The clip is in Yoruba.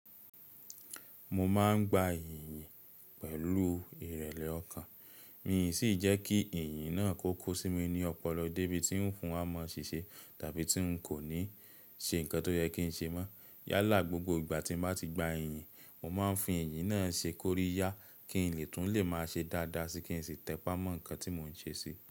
Mo máa ń gba iyìn yìn pẹ̀lú ìrẹ̀lẹ̀ ọkàn, miì sì jẹ́ kí iyìn náà kó ko sí mi ní ọpọlọ débi tí ń fi wa maa ṣìṣe tàbí tí ń kò ní ṣe nǹkan tó yẹ kí n ṣe mọ́. Yálà gbogbo ìgbà tí mo bá ti gba iyìn, mo máa ń fi iyìn náà ṣe kóríyá kí n lè tún lè máa ṣe dáadáa sí kí n sì tẹpá mọ́ nǹkan tí mò ń ṣe si.